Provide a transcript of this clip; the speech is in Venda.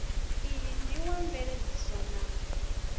iyi ndi wa mveledziso na